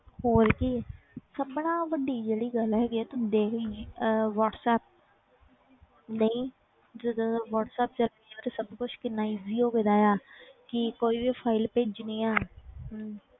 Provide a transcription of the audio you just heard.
ਹੋਰ ਕੀ ਸਭ ਨਾਲੋਂ ਵੱਡੀ ਜਿਹੜੀ ਗੱਲ ਹੈਗੀ ਹੈ ਤੂੰ ਦੇਖੇਂਗੀ ਅਹ ਵਾਟਸੈਪ ਨਹੀਂ ਜਦੋਂ ਦਾ ਵਾਟਸੈਪ ਚੱਲਿਆ ਉਦੋਂ ਤੋਂ ਸਭ ਕੁਛ ਕਿੰਨਾ easy ਹੋ ਗਿਆ ਆ ਕੀ ਕੁੱਝ file ਭੇਜਣੀ ਆਂ ਹਮ